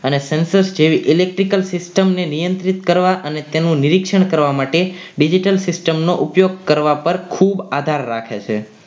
અને sensor જેવી Electricals system ની નિયંત્રિત કરવા અને તેનું નિરીક્ષણ કરવા માટે digital system નો ઉપયોગ કરવા પર ખૂબ આધાર રાખે છે.